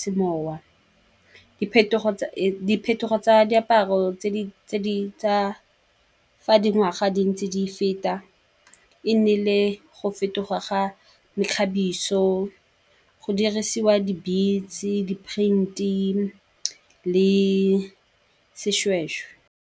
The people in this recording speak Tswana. semowa. Diphetogo tsa diaparo tse di tsa dingwaga tse di feta, e nnile go fetoga ga mekgabiso, go dirisiwa di-beats, di-print-i le seshweshwe.